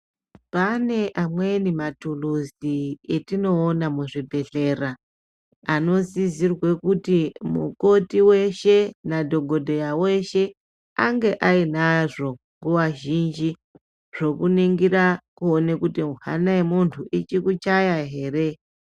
Pane amweni mathuluzi atinowona muzvibhedhlera, anosisirwe kuti mukoti weshe nadhokodheya weshe ange ayinazvo. Kuvazhinji zvokuningira kuwone kuti hhana yemuntu ichikuchaya here?